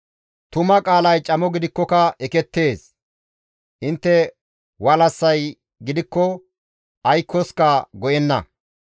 Tuma qaalay camo gidikkoka ekettees; intte walassay gidikko aykkoska go7enna.